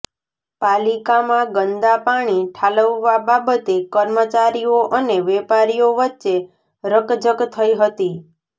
પાલિકામાં ગંદા પાણી ઠાલવવા બાબતે કર્મચારીઓ અને વેપારીઓ વચ્ચે રકજક થઈ હતી